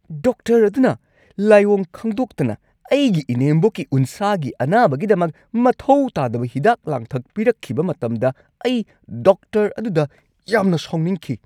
Doctor ꯑꯗꯨꯅ ꯂꯥꯏꯑꯣꯡ ꯈꯪꯗꯣꯛꯇꯅ ꯑꯩꯒꯤ ꯏꯅꯦꯝꯕꯣꯛꯀꯤ ꯎꯟꯁꯥꯒꯤ ꯑꯅꯥꯕꯒꯤꯗꯃꯛ ꯃꯊꯧ ꯇꯥꯗꯕ ꯍꯤꯗꯥꯛ-ꯂꯥꯡꯊꯛ ꯄꯤꯔꯛꯈꯤꯕ ꯃꯇꯝꯗ ꯑꯩ ꯗꯣꯛꯇꯔ ꯑꯗꯨꯗ ꯌꯥꯝꯅ ꯁꯥꯎꯅꯤꯡꯈꯤ꯫